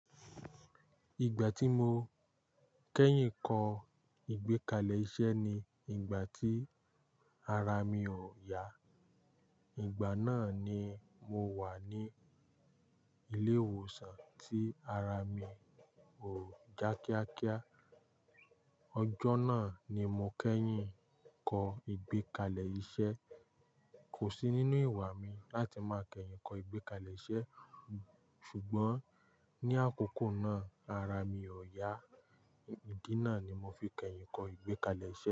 Ìgbà tí mo kẹ́yìn kọ ìgbékalẹ̀ iṣẹ́ ni ìgbà tí ara mi ò yá. Ìgbà náà ni mo wà ní ilé ìwòsàn tí ara mi ò já kíákíá. Ọjọ́ náà ni mo kẹ́yìn kọ ìgbékalẹ̀ iṣẹ́. Kò sí nínú ìwà mi láti máa kẹ́yìn kọ ìgbékalẹ̀ iṣẹ́ ṣùgbọ́n ní àkókò náà ara mi ò yá. Ìdí náà ni mo fi kẹ́yìn kọ ìgbékalẹ̀ iṣẹ́